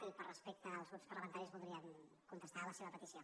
i per respecte als grups parlamentaris voldríem contestar la seva petició